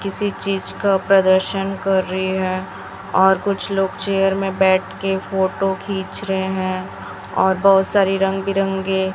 किसी चीज का प्रदर्शन कर रही हैं और कुछ लोग चेयर में बैठ के फोटो खींच रहे हैं और बहुत सारी रंग बिरंगे--